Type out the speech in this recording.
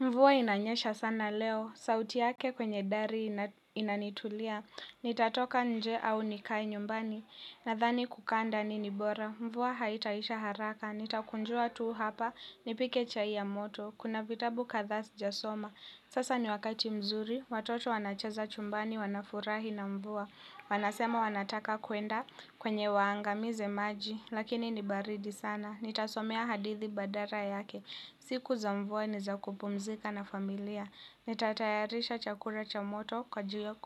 Mvua inanyesha sana leo sauti yake kwenye dari inanitulia nitatoka nje au nikae nyumbani nadhani kukaa ndani ni bora. Mvuwa haitaisha haraka, nitakunjua tuu hapa, nipike chai ya moto, kuna vitabu katha sijasoma. Sasa ni wakati mzuri, watoto wanachaza chumbani, wanafurahi na mvuwa, wanasema wanataka kuenda kwenye waangamize maji, lakini nibaridi sana. Nitasomea hadithi badara yake. Siku za mvua ni za kupumzika na familia. Nitatayarisha chakura cha moto